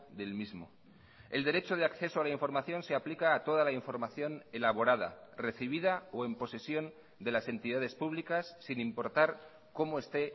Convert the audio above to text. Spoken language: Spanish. del mismo el derecho de acceso a la información se aplica a toda la información elaborada recibida o en posesión de las entidades públicas sin importar como esté